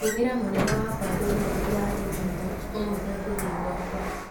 Tũmĩra mũnene wakwa ndũmĩrĩri ya i-mīrū ũmũĩre ngũthiĩ gwaka